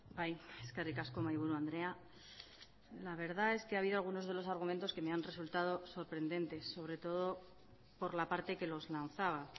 bai eskerrik asko mahaiburu andrea la verdad es que ha habido algunos de los argumentos que me han resultado sorprendentes sobre todo por la parte que los lanzaba